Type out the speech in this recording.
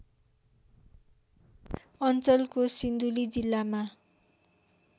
अञ्चलको सिन्धुली जिल्लामा